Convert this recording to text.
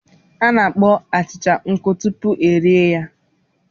A na-akpọọ achịcha nkụ tupu erie ya.